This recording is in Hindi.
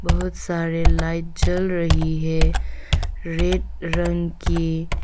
बहुत सारी लाइट जल रही है रेड रंग की।